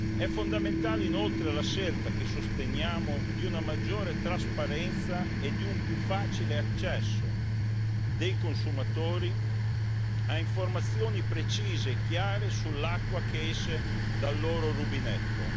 È fondamentale, inoltre, la scelta, che sosteniamo, di una maggiore trasparenza e di un più facile accesso dei consumatori a informazioni precise e chiare sull'acqua che esce dal loro rubinetto.